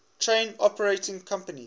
train operating companies